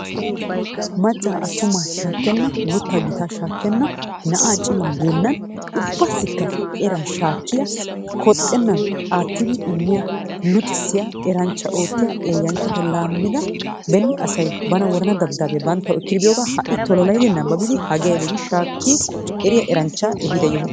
Maccaa attumaa shaakkena guuttaa gittaa shaakkenna na"aa cimaa geennan ubbaassikka eraa shaakkiyaa kooxxeennan aattidi immiyaa luuxxisiyaa eraanchcha oottiyaa eeyyanchata laammida beeni asay bana worana dabdabbiyaa banttawu ekki epiyoogaa ha"i tololayiidi nababidi hagee aybee gi shaakki eriyaa aranchchaa eehida yoho.